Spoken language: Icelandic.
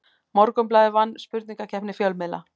Morgunblaðið vann spurningakeppni fjölmiðla